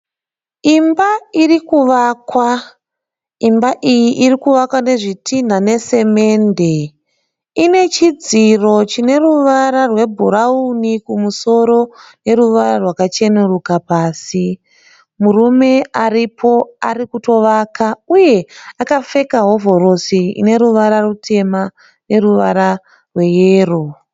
Imba iri kuvakwa. Imba iyi iri kuvakwa nezvitinha nesamende. Ine chidziro chine ruvara rwebhurauni kumusoro neruvara rwakacheneruka pasi. Murume aripo ari kutovaka uye akapfeka hovhorosi ine ruvara rutema neruvara rweyero.